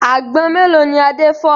Àgbọn mélòó ni Adé fọ́?